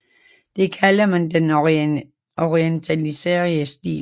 Det kalder man den orientaliserede stil